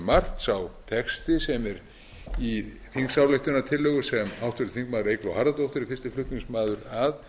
margt sá texti sem er í þingsályktunartillögu sem háttvirtur þingmaður eygló harðardóttir er fyrsti flutningsmaður að